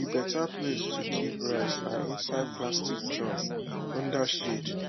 the better place to keep rice na inside plastic drum under shade